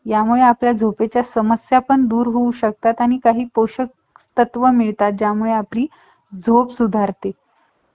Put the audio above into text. हम्म थोड्या वेळाने